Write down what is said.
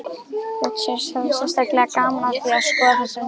Richard hafði sérstaklega gaman af því að skoða þessar myndir